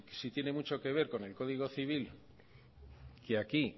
si tiene mucho que ver con el código civil que aquí